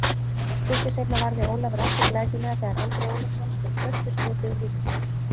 Stuttu seinna varði Ólafur aftur glæsilega þegar Andri Ólafsson skaut föstu skoti úr vítateig.